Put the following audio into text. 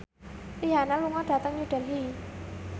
Rihanna lunga dhateng New Delhi